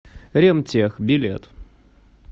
ремтех билет